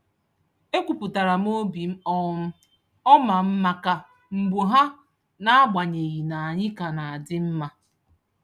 E kwupụtara m obi um ọma m maka mbọ ha n'agbanyeghị na anyị ka na-adị mma.